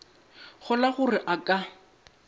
kgolwa gore ge a ka